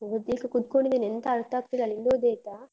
ಓದ್ಲಿಕ್ಕೆ ಕುತ್ಕೊಂಡಿದ್ದೇನೆ ಎಂತ ಅರ್ಥ ಆಗ್ತಿಲ್ಲ, ನಿಂದು ಓದಿ ಆಯ್ತಾ?